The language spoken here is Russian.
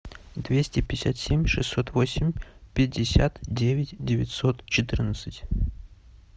двести пятьдесят семь шестьсот восемь пятьдесят девять девятьсот четырнадцать